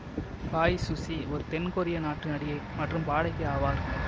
Bae Suzy ஒரு தென் கொரிய நாட்டு நடிகை மற்றும் பாடகி ஆவார்